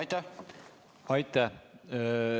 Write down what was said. Aitäh!